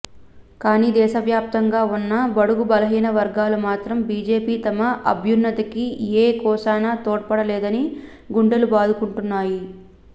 కానీ దేశవ్యాప్తంగా ఉన్న బడుగు బలహీన వర్గాలు మాత్రం బీజేపీ తమ అభ్యున్నతికి ఏ కోశానా తోడ్పడలేదని గుండెలు బాదుకుంటున్నాయి